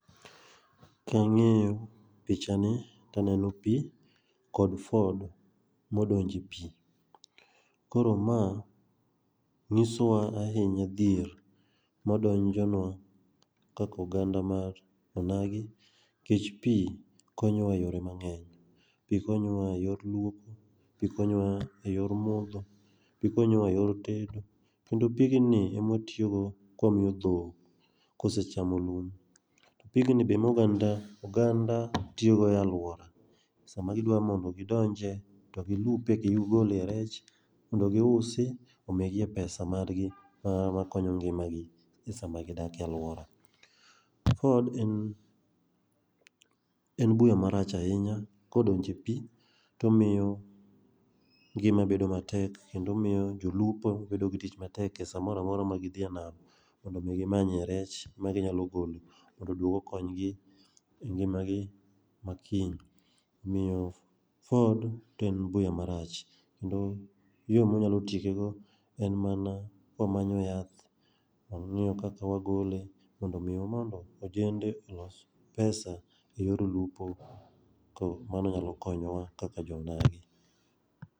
Kang'iyo pichani to aneno pii kod ford modonje epii. Koro ma nyisowa ahinya dhier ma donjonwa kaka oganda mar onagi nikech pii konyowa eyore mang'eny. Pii konyowa eyor luoko, pii konyowa eyor modho, pii konyowa eyor tedo, kendo pigni ema watiyogo kwamiyo dhok kose chamo luom, to pigni be ema oganda oganda tiyogo e aluora. Sama gidwa mondo gidonje to gi lupe gigole rech mondo gi usi omigie pesa margi mana makonyo ngimagi sama gidake aluora. ford en buya marach ahinya kodonje epii to omiyo ngima bedo matek ahinya kendo miyo jolupo bedo gi tich matek e samoro amora ma gi dhie nam mondo mi gi manye rech ma ginyalo golo mondo oduogo okonygi engimagi makiny. Omiyo ford to en buya marach kendo yoo mwanyalo tiekego en mana kwa manyo yath wang'iyo kaka wagole mondo mi ojende olos pesa eyor lupo. Koro mano nyalo konyowa kaka joo onagi.